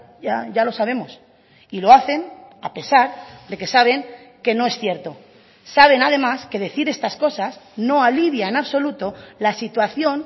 ya ya lo sabemos y lo hacen a pesar de que saben que no es cierto saben además que decir estas cosas no alivia en absoluto la situación